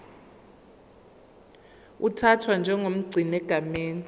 uthathwa njengomgcini egameni